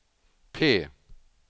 P